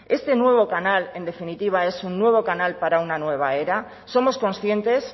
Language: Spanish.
este nuevo canal en definitiva es un nuevo canal para una nueva era somos conscientes